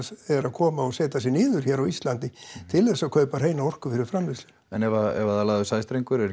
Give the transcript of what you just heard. eru að koma og setja sig niður hér á Íslandi til þess að kaupa hreina orku fyrir framleiðsluna en ef það er lagður sæstrengur er